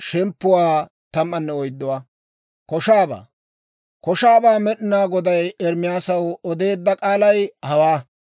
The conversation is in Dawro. Koshaabaa Med'inaa Goday Ermaasaw odeedda k'aalay hawaa;